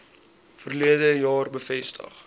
verlede jaar bevestig